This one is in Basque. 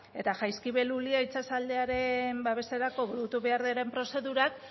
eta jaizkibel ulia itsasaldearen babeserako burutu behar diren prozedurak